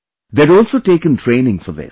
They had also taken training for this